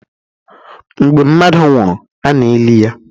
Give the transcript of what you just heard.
Mgbe mmadụ nwụrụ, a na-eli ya.